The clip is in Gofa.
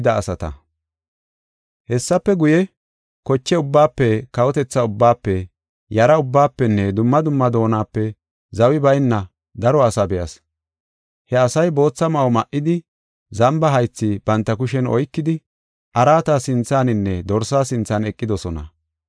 Hessafe guye, koche ubbaafe, kawotetha ubbaafe, yara ubbaafenne dumma dumma doonape zawi bayna daro asaa be7as. He asay bootha ma7o ma7idi, zamba haythi banta kushen oykidi, araata sinthaninne Dorsa sinthan eqidosona.